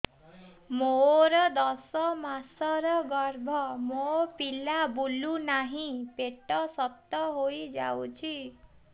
ମୋର ଦଶ ମାସର ଗର୍ଭ ମୋ ପିଲା ବୁଲୁ ନାହିଁ ପେଟ ଶକ୍ତ ହେଇଯାଉଛି